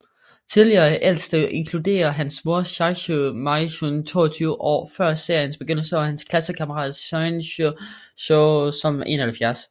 Tidligere Ældste inkluderer hans mor Sachiho Miyanokouji 22 år før seriens begyndelse og hans klassekammerat Sion Jujo som 71